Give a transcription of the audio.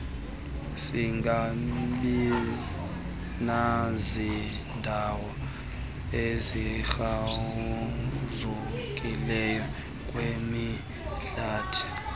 singabinazindawo ezikrazukileyo kwimihlathi